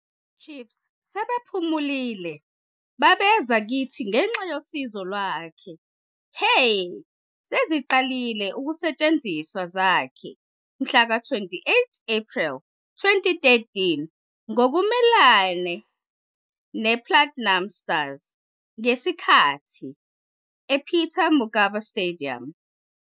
Chiefs sebephumile babeza kithi ngenxa yosizo lwakhe, "he seziqalile ukusetshenziswa wakhe mhlaka 28 Apreli 2013 ngokumelene nePlatinum Stars ngesikhathi ePeter Mokaba Stadium.